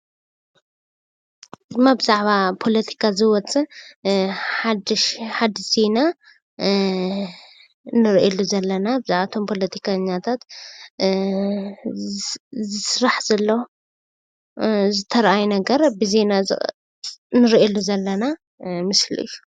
እዚ እማ ብዛዕባ ፖለቲካ ዝወፅእ ሓዱሽ ዜና እንርኤሉ ዘለና ብዛዕባ እቶም ፖለቲከኛታት ዝስራሕ ዘሎ ዝተርኣየ ነገር ብዜና ንርእየሉ ዘለና ምስሊ እዩ።